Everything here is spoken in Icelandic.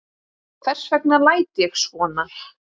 Hvers vegna læt ég svona?